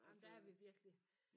Jamen der er vi virkelig